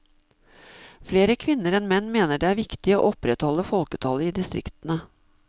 Flere kvinner enn menn mener det er viktig å opprettholde folketallet i distriktene.